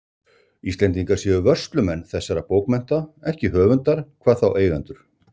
Íslendingar séu vörslumenn þessara bókmennta, ekki höfundar, hvað þá eigendur.